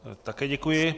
Také děkuji.